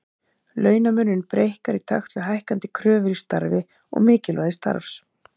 Launamunurinn breikkar í takt við hækkandi kröfur í starfi og mikilvægi starfs.